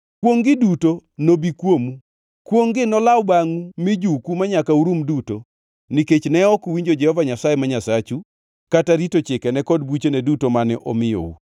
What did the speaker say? Kwongʼ-gi duto nobi kuomu. Kwongʼ-gi nolaw bangʼu mijuku manyaka urum uduto, nikech ne ok uwinjo Jehova Nyasaye ma Nyasachu, kata rito chikene kod buchene duto mane omiyou.